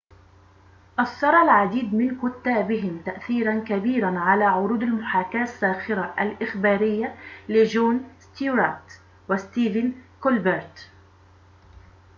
أثَّر العديد من كُتابهم تأثيرًا كبيرًا على عروض المحاكاة الساخرة الإخبارية لجون ستيوارت وستيفن كولبرت